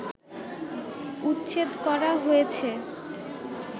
উচ্ছেদ করা হয়েছে